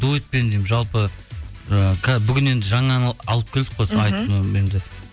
дуэтпен деймін жалпы і бүгін енді жаңа ән алып келдік қой